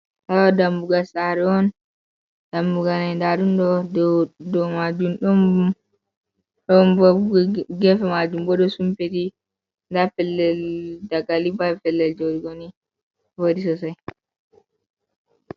Haala dammugal saare on, dammugal nai ndaa ɗum ɗo dow maajum don bob geefe majum boo ɗon sumpiti ndaa pellel dagali bee pellel jooɗugo vooɗi sosai.